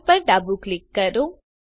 Fileપર ડાબું ક્લિક કરો